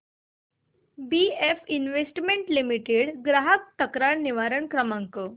BF investment limited चा ग्राहक तक्रार निवारण क्रमांक